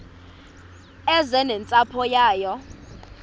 eze nentsapho yayo